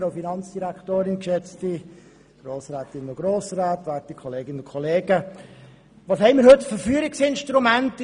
Was haben wir in dieser Hinsicht heute für Führungsinstrumente?